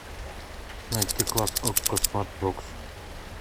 найти класс окко смарт бокс